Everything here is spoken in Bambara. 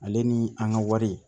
Ale ni an ka wari